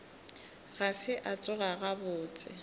ga se a tsoga gabotse